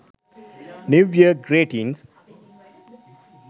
new year greeting